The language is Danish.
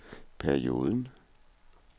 perioden